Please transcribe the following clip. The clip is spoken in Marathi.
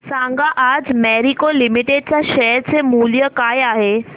सांगा आज मॅरिको लिमिटेड च्या शेअर चे मूल्य काय आहे